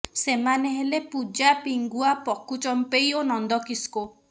ସେମାନେ ହେଲେ ପୂଜା ପିଙ୍ଗୁଆ ପକୁ ଚମ୍ପେଇ ଓ ନନ୍ଦ କିସ୍କୋ